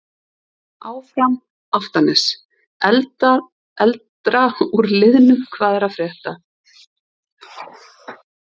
Áfram Álftanes.Eldra úr liðnum Hvað er að frétta?